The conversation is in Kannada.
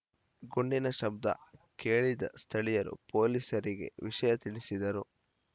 ಗುಂಡಿನ ಶಬ್ದ ಕೇಳಿದ ಸ್ಥಳೀಯರು ಪೊಲೀಸರಿಗೆ ವಿಷಯ ತಿಳಿಸಿದರು